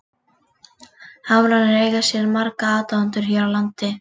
Hamrarnir eiga sér marga aðdáendur hér á landi.